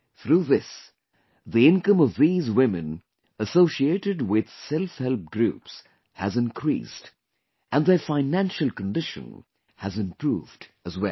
Through this, the income of these women associated with selfhelp groups has increased, and their financial condition has improved as well